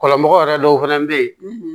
Kɔlɔnmɔgɔ yɛrɛ dɔw fɛnɛ bɛ ye